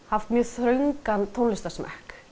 haft mjög þröngan tónlistarsmekk